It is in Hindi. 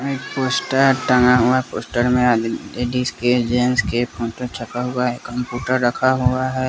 एक पोस्टर टंगा हुआ है। पोस्टर में आदमी जेंट्स के फोटो छपा हुआ है कंप्यूटर रखा हुआ है।